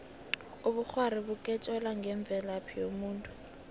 ubukghwari bukutjela ngemvelaphi yomuntu